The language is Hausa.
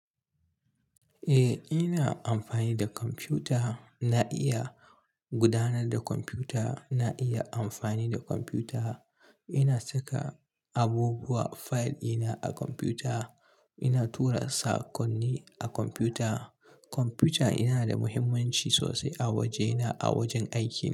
Eh, ina amfani da kwamfuta. Na iya gudanar da kwamfuta. Na iya amfani da kwamfuta. Ina saka abubuwa, fayil ina a kwamfuta. Ina tura saƙonni a kwamfuta. Kwamfuta yana da muhimmanci sosai a wajena, a wajen aikin.